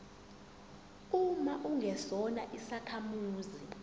uma ungesona isakhamuzi